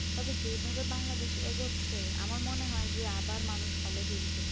তবে যেভাবে বাংলাদেশ এগোচ্ছে আমার মনে হয় যে আবার মানুষ hall এ ফিরবে